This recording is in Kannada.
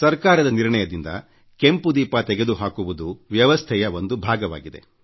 ಸರ್ಕಾರದ ನಿರ್ಣಯದಿಂದ ಕೆಂಪು ದೀಪ ತೆಗೆದು ಹಾಕುವುದು ವ್ಯವಸ್ಥೆಯ ಒಂದು ಭಾಗವಾಗಿದೆ